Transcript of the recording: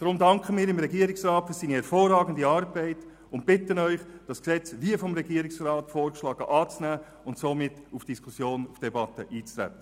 Deshalb danken wir dem Regierungsrat für seine hervorragende Arbeit und bitten Sie, das Gesetz wie vom Regierungsrat vorgeschlagen anzunehmen und somit auf die Debatte einzutreten.